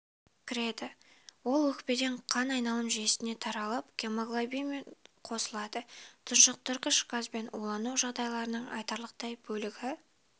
кіреді ол өкпеден қан айналым жүйесіне таралып гемоглобинмен қосылады тұншықтырғыш газбен улану жағдайларының айтарлықтай бөлігі